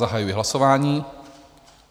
Zahajuji hlasování.